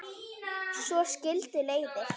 Svo skildu leiðir.